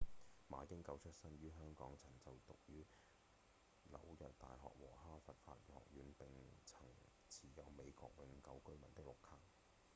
馬英九出生於香港曾就讀於紐約大學和哈佛法學院並曾持有美國永久居民的「綠卡」